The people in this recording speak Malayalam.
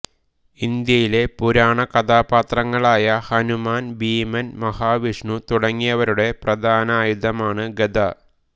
ഇന്ത്യയിലെ പുരാണകഥാപാത്രങ്ങളായ ഹനുമാൻ ഭീമൻ മഹാവിഷ്ണു തുടങ്ങിയവരുടെ പ്രധാനായുധമാണ് ഗദ